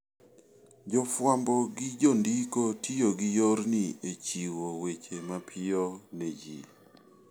Jofwambo gi jondiko tiyo gi yorni e chiwo weche mapiyo ne ji.